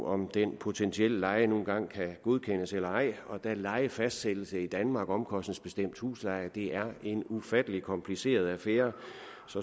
om den potentielle leje nu engang kan godkendes eller ej og da lejefastsættelse i danmark omkostningsbestemt husleje er en ufattelig kompliceret affære